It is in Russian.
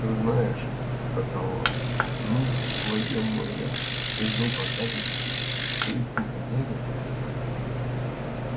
знаешь сказал он ну войдём мы в лес и вдруг окажется что идти-то не за кем